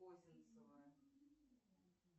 козинцева